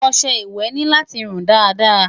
ọsẹ ìwé ní láti run Dàda